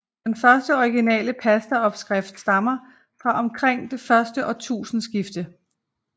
Den første originale pastaopskrift stammer fra omkring det første årtusindeskifte